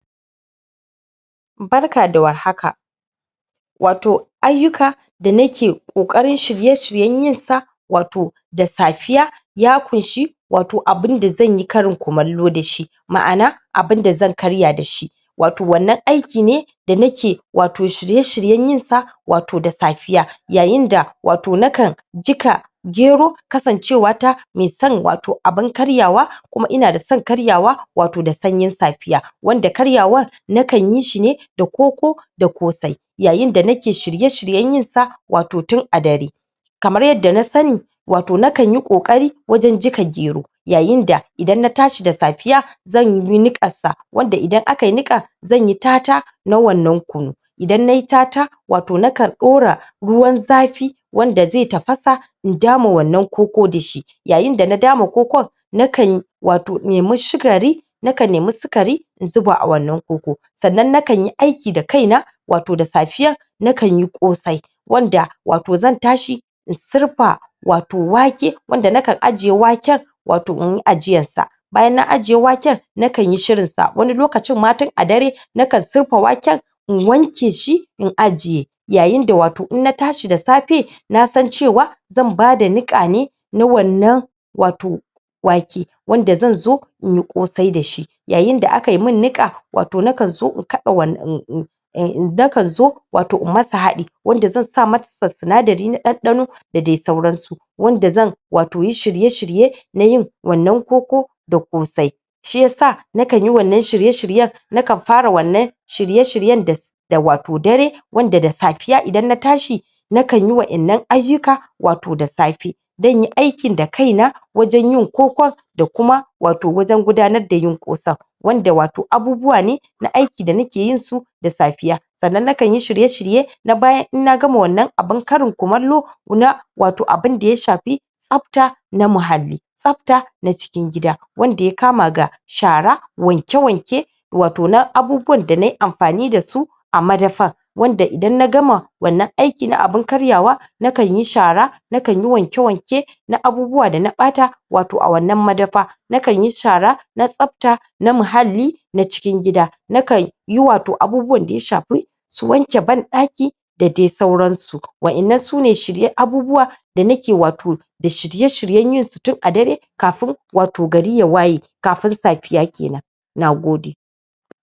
Barka da warhaka um ayyuka da nake ƙoƙarin shirye-shiryen yinsa um da safiya ya ƙushi um abunda zanyi Karim kumallo dashi, maʼana abun da zan karya dashi um wannan aiki ne da nake um da nake shirye-shiryen yinsa um da safiya, yayin da um nakan jiƙa gero kasancewata me son um abun karyawa kuma ina da son karyawa um da sanyin safiya, wanda karyawar nakan yishi da koko da ƙosai, yayin da nake shirye-shiryen yinsa um tin a dare kamar yadda na sani um nakanyi ƙoƙari wajen jiƙa ger yayin da idan na tashi da safiya zanyi nikan sa, wanda idan aka niƙa zanyi tata na wannan kunu, idan nayi tata [um]ato nakan ɗora ruwan zafi wanda ze tafasa in dama wannan koko dashi, yayin dana dama koko nakan um nemi sukari in zuba a wannan koko sannan nakanyi aiki da kaina,[um] da safiyan nakanyi ƙosai wanda um zan tashi in surfa um wake wanda naka ajiye wake um inyi ajiyarsa, ,bayan na ajiye waken nakanyi shirinsa wani lokaci ma tin a dare nakan surfa waken in wanke shi in ajiye yayin da um in na tashi da safe nasan cewa zan bada niƙa ne na um wake wanda zanzo inyi ƙosai dashi yayin da akai min niƙa nakan zo in kada wannan nakan zo um in sa masa haɗi zan sa mass sinadarin ɗanɗano da dai sauransu wanda zan um yi shirye-shirye na yin wannan koko da ƙosai, shiya sa nakanyi wannan shirye-shiryen, nakan fara wannan shirye-shiryen da um dare wanda da safiya idan na tashi nakanyi wayannan ayyuka um da safe zanyi aikin da kaina wajen yin kokon da kuma um wajen gudanar da yi ƙosan wanda um abubuwa ne na aiki da nake yinsu da safiya, sannan nakan yi shirye-shirye na bayan in na gama wannan abun Karin kumallo na um abun daya shafi tsafta na muhalli, tsafta na cikin gidawanda ya ka ma ga shara, wanke wanke um na abubuwan da nayi amfani dasu a madafan wanda idan nagama wannan ayki na abun karyawa na kan yi shara nakan yi wanke wanken abubuwa da nayi amfani dasu a madafa wanda idan na gama wannan aiki na na abun karyawa nakan yi shara nakanyi wanke-wanke na abubuwa dana ɓata, wato a wannan madafa nakanyi shara na tsafta na muhalli na cikin gida, nakanyi um abubuwan da ya shafi su wanke banɗaki da dai sauransu wa ƴannan sune shiryen abubuwa um da nake shirye-shiryen yin su tin a dare kafin um gari ya waye, kafin safiya kenan, Nagode.